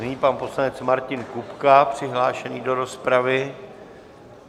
Nyní pan poslanec Martin Kupka přihlášený do rozpravy.